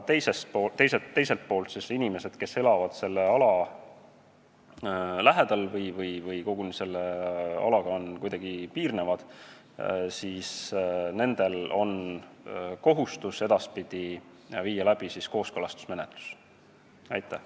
Teiselt poolt inimestel, kes elavad selle ala lähedal või kes sellega koguni kuidagi piirnevad, on kohustus edaspidi kooskõlastusmenetlus läbi viia.